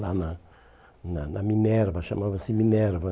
Lá na na na Minerva, chamava-se Minerva.